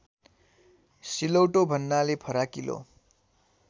सिलौटो भन्नाले फराकिलो